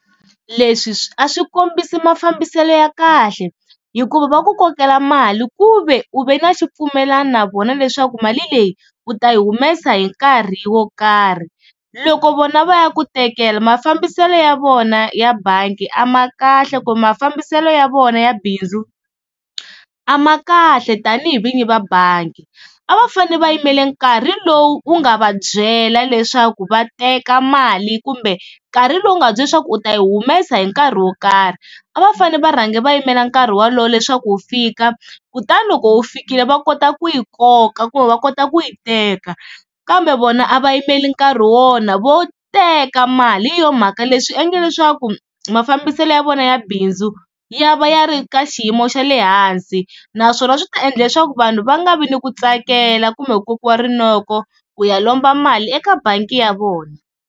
Leswi swi a swi kombisi mafambiselo ya kahle hikuva va ku kokela mali ku ve u ve na xipfumelana na vona leswaku mali leyi u ta yi humesa hi nkarhi wo karhi. Loko vona va ya ku tekela mafambiselo ya vona ya bangi a ma kahle kumbe mafambiselo ya vona ya bindzu a ma kahle tani hi vinyi va bangi. A va fanele va yimele nkarhi lowu wu nga va byela leswaku va teka mali kumbe nkarhi lowu nga va byela leswaku u ta yi humesa hi nkarhi wo karhi. A va fane va rhange va yimela nkarhi wolowo leswaku wu fika kutani loko wu fikile va kota ku yi koka kumbe va kota ku yi teka, kambe vona a va yimeli nkarhi wona vo teka mali hi yo mhaka leswi swi endla leswaku mafambiselo ya vona ya bindzu ya va ya ri ka xiyimo xa le hansi. Naswona swi ta endla leswaku vanhu va nga vi ni ku tsakela kumbe ku kokiwa rinoko ku ya lomba mali eka bangi ya vona.